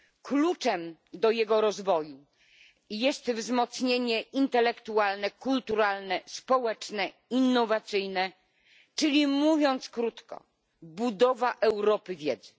Kluczem do jego rozwoju jest wzmocnienie intelektualne, kulturalne, społeczne i innowacyjne czyli, mówiąc krótko, budowa Europy wiedzy.